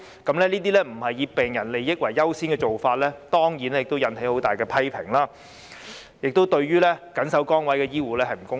這些不是以病人利益為優先的做法，當然引起很大的批評，亦對緊守崗位的醫護不公平。